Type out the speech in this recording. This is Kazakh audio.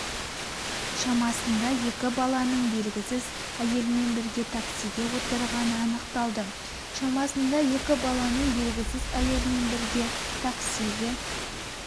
шамасында екі баланың белгісіз әйелмен бірге таксиге отырғаны анықталды шамасында екі баланың белгісіз әйелмен бірге таксиге